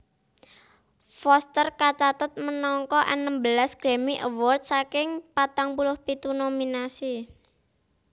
Foster kacathet menangake enem belas Grammy Awards saking patang puluh pitu nominasi